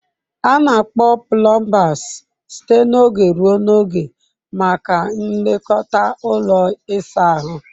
A na-akpọ plumbers site n'oge ruo n'oge maka nlekọta ụlọ ịsa ahụ.